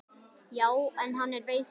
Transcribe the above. Já, en hann er veikur